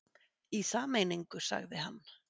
Í sameiningu sagði hann.